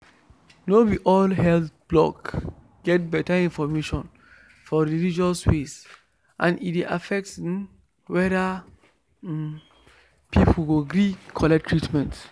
no be all health blog get better information for religious way and e dey affect um whether um people go gree collect treatment.